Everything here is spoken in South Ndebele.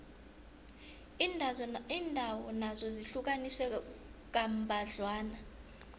iindawo nazo zihlukaniswe kambadlwana